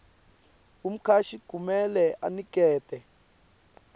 umcashi kumele anikete